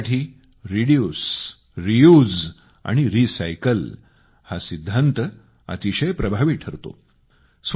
कचऱ्यासाठी reduce reuse आणि recycle हा सिद्धांत अतिशय प्रभावी ठरतो